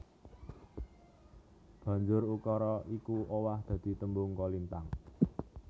Banjur ukara iku owah dadi tembung kolintang